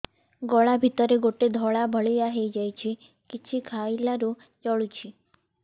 ଗଳା ଭିତରେ ଗୋଟେ ଧଳା ଭଳିଆ ହେଇ ଯାଇଛି କିଛି ଖାଇଲାରୁ ଜଳୁଛି